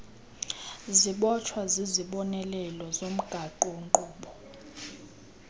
zibotshwa zizibonelelo zomgaqonkqubo